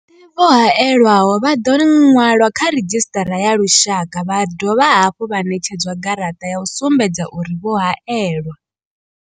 Vhoṱhe avho vho hae lwaho vha ḓo ṅwalwa kha redzhisṱara ya lushaka vha dovha hafhu vha ṋetshedzwa garaṱa ya u sumbedza uri vho haelwa.